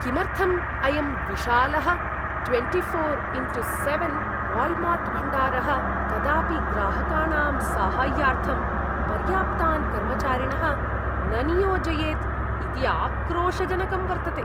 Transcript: किमर्थं अयं विशालः ट्वेण्टिफोर् इण्टु सेवेन् वाल्मार्ट्भण्डारः कदापि ग्राहकाणां साहाय्यार्थं पर्याप्तान् कर्मचारिणः न नियोजयेत् इति आक्रोशजनकं वर्तते।